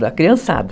Da criançada.